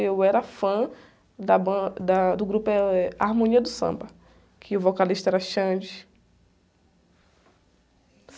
Eu era fã da ban, da, do grupo, eh, Harmonia do Samba, que o vocalista era Xande.